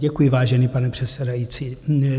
Děkuji, vážený pane předsedající.